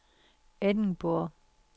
Edinburgh